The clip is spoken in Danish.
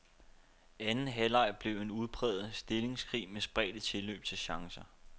Anden halvleg blev en udpræget stillingskrig med spredte tilløb til chancer.